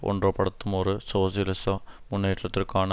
ஒன்றுபடுத்தும் ஒரு சோசியலிச முன்னோக்கிற்கான